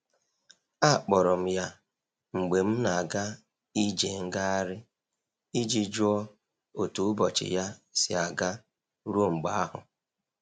Akpọrọ m ya mgbe m na'aga ije ngaghari i ji jụọ otu ụbọchị ya si aga ruo mgbe ahụ.